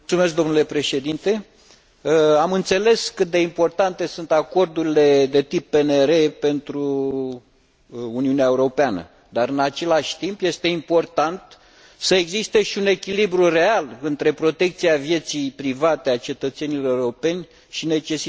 Am înțeles cât de importante sunt acordurile de tip PNR pentru Uniunea Europeană, dar, în același timp, este important să existe și un echilibru real între protecția vieții private a cetățenilor europeni și necesitatea combaterii terorismului.